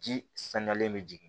Ji saniyalen bɛ jigin